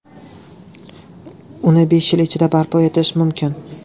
Uni besh yil ichida barpo etish mumkin.